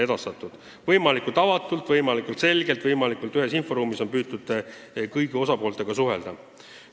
Nii et võimalikult avatult, võimalikult selgelt, võimalikult ühes inforuumis on püütud kõigi osapooltega suhelda.